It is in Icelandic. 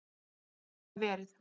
Getur það verið?